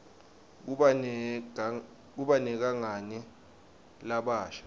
kuba negangani labasha